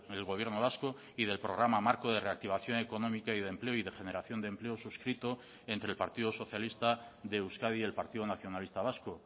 el gobierno vasco y del programa marco de reactivación económica y de empleo y de generación de empleo suscrito entre el partido socialista de euskadi y el partido nacionalista vasco